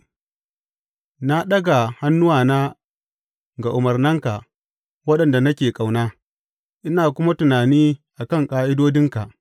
Na ɗaga hannuwana ga umarnanka, waɗanda nake ƙauna, ina kuma tunani a kan ƙa’idodinka.